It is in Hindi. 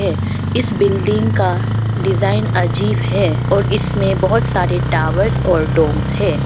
इस बिल्डिंग का डिजाइन अजीब है और इसमें बहुत सारे टॉवर्स और डोम्स है।